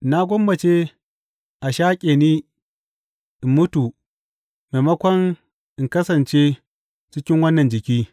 Na gwammace a shaƙe ni in mutu maimakon in kasance cikin wannan jiki.